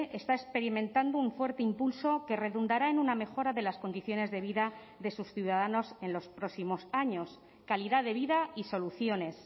está experimentando un fuerte impulso que redundará en una mejora de las condiciones de vida de sus ciudadanos en los próximos años calidad de vida y soluciones